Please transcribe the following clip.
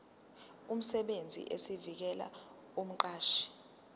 emsebenzini esivela kumqashi